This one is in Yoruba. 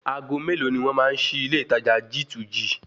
Ago mélòó ni wọ́n máa ṣí ilé ìtajà G2G?